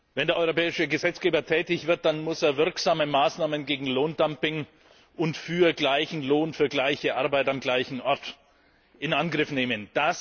Wenn der europäische Gesetzgeber tätig wird, dann muss er wirksame Maßnahmen gegen Lohndumping und für gleichen Lohn für gleiche Arbeit am gleichen Ort in Angriff nehmen.